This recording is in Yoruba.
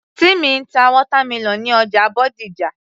Timmy ń ta watermelon ní ọjà Bódìjà